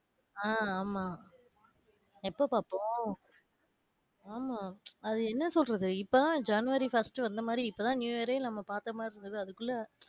ஆஹ் ஆமா. எப்ப பாத்தோம். ஆமா அது என்ன சொல்றது இப்போ தான் january first வந்தமாதிரி இப்பதான் new year யே நம்ம பாத்தமாதிரி இருக்கு. அதுக்குள்ள,